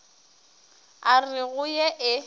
a re go ye e